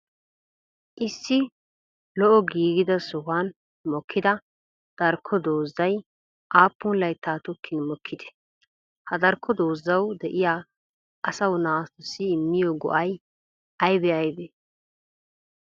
issi lo7o giggida sohuwan mookida darko doozay appun layttan tokkin mookidee? ha darko doozawu de7iya asawu naatussi immiyoo go7ay aybee aybee?